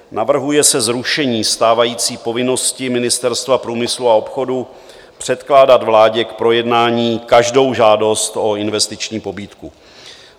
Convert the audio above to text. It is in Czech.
Navrhuje se zrušení stávající povinnosti Ministerstva průmyslu a obchodu předkládat vládě k projednání každou žádost o investiční pobídku.